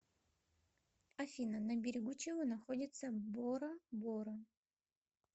афина на берегу чего находится бора бора